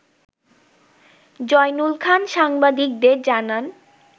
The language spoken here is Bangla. জয়নুল খান সাংবাদিকদের জানান